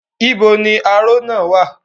Níbo ni aró náà wà?